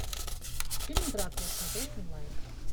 фильм дракула смотреть онлайн